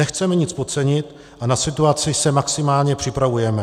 Nechceme nic podcenit a na situaci se maximálně připravujeme.